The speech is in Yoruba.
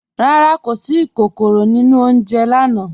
Rárá, kò sí ìkòkòró nínu ọ̀unjẹ̀ lànà.